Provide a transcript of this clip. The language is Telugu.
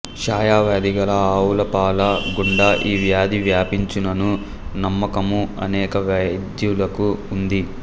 క్షయ వ్యాధి గల ఆవుల పాల గుండ ఈ వ్యాధి వ్యాపించునను నమ్మకము అనేక వైద్యులకు ఉంది